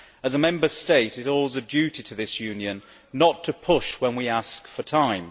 As a Member State, it owes a duty to this Union not to push when we ask for time.